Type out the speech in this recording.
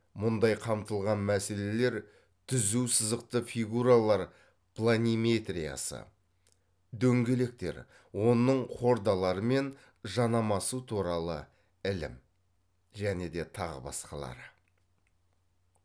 мұндай қамтылған мәселелер түзу сызықты фигуралар планиметриясы дөңгелектер оның хордалары мен жанамасы туралы ілім және де тағы басқалары